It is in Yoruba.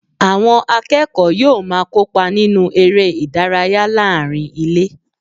Àwọn akẹ́kọ̀ọ́ yóò máa kópa nínú eré ìdárayá láàárín ilé